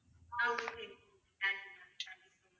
ah okay okay thank you ma'am thank you